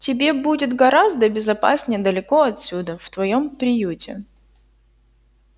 тебе будет гораздо безопаснее далеко отсюда в твоём приюте